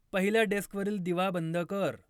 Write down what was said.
पहिल्या डेस्कवरील दिवा बंद कर